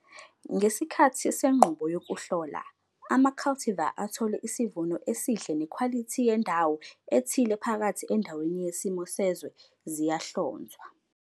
Ngesikhathi senqubo yokuhlola, ama-cultivar athole isivuno esihle nekhwalithi yendawo ethile phakathi endaweni yesimo sezwe, ziyahlonzwa.